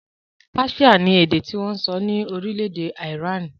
Páṣíà ni èdè tí wọn ń sọ ní orílẹ̀-èdè Ìránì